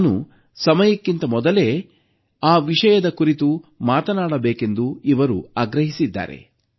ನಾನು ಸಮಯಕ್ಕಿಂತ ಮೊದಲೇ ಆ ವಿಷಯದ ಕುರಿತು ಮಾತನಾಡಬೇಕೆಂದು ಇವರು ಆಗ್ರಹಿಸಿದ್ದಾರೆ